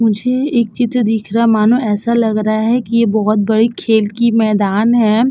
मुझे एक चित्र दिख रहा है। मानो ऐसा लग रहा है कि ये बोहोत बड़ी खेल की मैदान है।